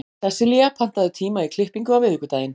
Sessilía, pantaðu tíma í klippingu á miðvikudaginn.